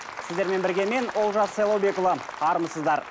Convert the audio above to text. сіздермен бірге мен олжас сайлаубекұлы армысыздар